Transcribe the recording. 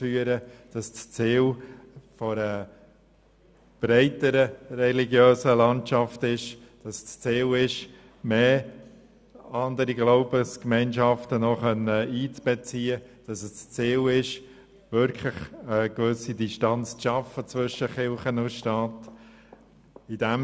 Wir müssen uns daran gewöhnen, dass das Ziel darin besteht, noch mehr Glaubensgemeinschaften einzubeziehen und eine gewisse Distanz zwischen Kirche und Staat zu schaffen.